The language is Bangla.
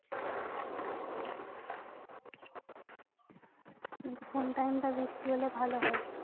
কোন time টা বৃষ্টি হলে ভালো হয়?